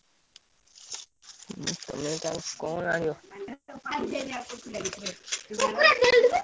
କଣ ଆଣିବ?